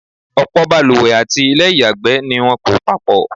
ọ̀pọ̀̀ baluwẹ̀ àti ilẹ́ ìyàgbẹ́ ni wọ́n kọ́ papọ̀.